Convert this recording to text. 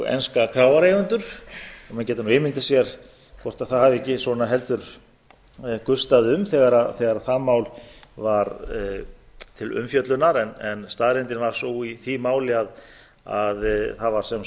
enska kráareigendur og maður getur ímyndað sér hvort það hafi ekki svona heldur gustað um þegar það mál var til umfjöllunar en staðreyndin var sú í því máli að það var sem